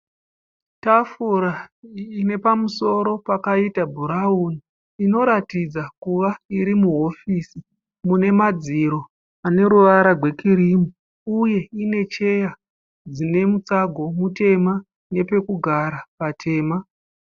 Tafura ine pamusoro pakaita bhurauni inoratidza kuva iri muhofisi mune madziro ane ruvara gwekirimu uye ine cheya dzine mutsago mutema nepekugara patema.